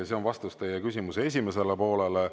See on vastus teie küsimuse esimesele poolele.